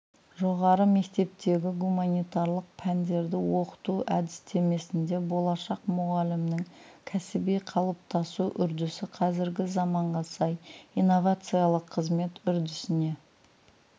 жоғары мектептегі гуманитарлық пәндерді оқыту әдістемесінде болашақ мұғалімнің кәсіби қалыптасу үрдісі қазіргі заманға сай инновациялық қызмет үрдісіне